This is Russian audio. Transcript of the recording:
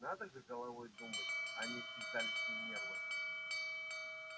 надо же головой думать а не седалищным нервом